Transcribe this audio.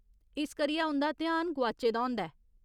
इस करियै उं'दा ध्यान गोआचे दा होंदा ऐ।